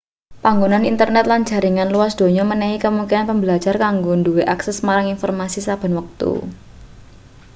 panganggone internet lan jaringan luas donya menehi kemungkinan pembelajar kanggo duwe akses marang informasi saben wektu